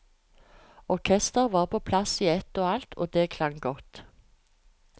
Orkestret var på plass i ett og alt, og det klang godt.